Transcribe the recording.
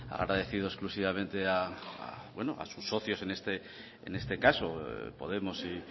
ha agradecido exclusivamente a sus socios en este caso podemos y